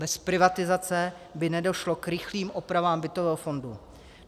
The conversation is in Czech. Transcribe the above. Bez privatizace by nedošlo k rychlým opravám bytového fondu.